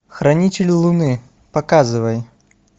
хранители луны показывай